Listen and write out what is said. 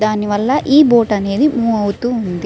దానివల్ల ఈ బోట్ అనేది మూవ్ అవుతూ ఉంటుంది.